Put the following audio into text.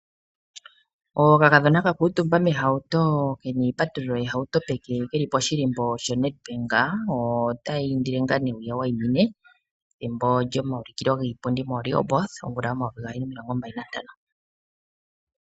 Okakadhona ka kuutumba mehauto ke na iipatululo yehauto peke ke li poshilimbo shoNedbank otaya indile ngaa nee wu ya wayimine pethimbo lyomaulukilo giipindi moRehoboth omvula yomayovi gaali nomilongo mbali nantano.